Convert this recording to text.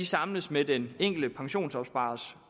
samles med den enkelte pensionsopsparers